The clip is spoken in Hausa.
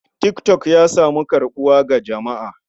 Tik tok ya samu karɓuwa ga jama'a.